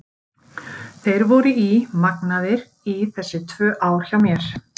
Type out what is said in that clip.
Þeir voru í magnaðir í þessi tvö ár hjá mér.